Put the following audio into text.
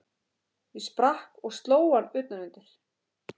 Ég sprakk og sló hann utan undir.